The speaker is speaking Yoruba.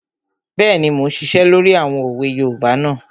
Bẹ́ẹ̀ni, mo n ṣiṣẹ́ lórí àwọn òwe yoòbá náà